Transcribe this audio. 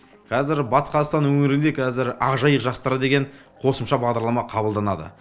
қазір батыс қазақстан өңірінде қазір ақжайық жастары деген қосымша бағдарлама қабылданады